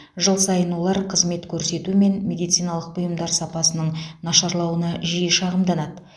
жыл сайын олар қызмет көрсету мен медициналық бұйымдар сапасының нашарлауына жиі шағымданады